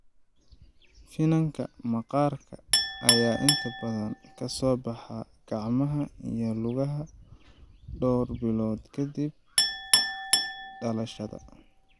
Finanka maqaarka ayaa inta badan ka soo baxa gacmaha iyo lugaha dhowr bilood ka dib dhalashada.